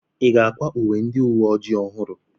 Ị ga-akwa uwe ndị uwe ojii ọhụrụ?